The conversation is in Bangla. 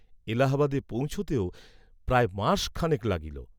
এলাহাবাদে পৌঁছিতেও প্রায় মাস খানেক লাগিল।